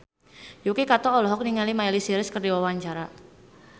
Yuki Kato olohok ningali Miley Cyrus keur diwawancara